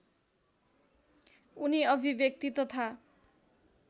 उनी अभिव्यक्ति तथा